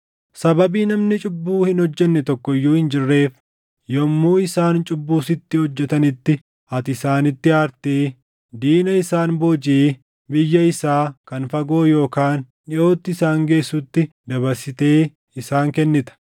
“Sababii namni cubbuu hin hojjenne tokko iyyuu hin jirreef, yommuu isaan cubbuu sitti hojjetanitti ati isaanitti aartee diina isaan boojiʼee biyya isaa kan fagoo yookaan dhiʼootti isaan geessutti dabarsitee isaan kennita;